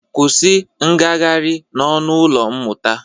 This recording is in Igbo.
Kwusi ngagarị n'ọnụ ụlọ mmụta!